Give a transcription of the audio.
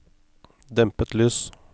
dempet lys